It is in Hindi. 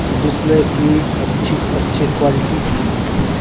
जिसमे की अच्छी-अच्छी क्वॉलिटी मिलती है।